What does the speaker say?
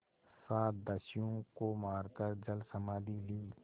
सात दस्युओं को मारकर जलसमाधि ली